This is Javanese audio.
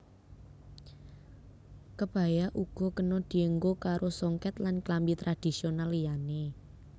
Kebaya uga kena dienggo karo songket lan klambi tradhisional liyané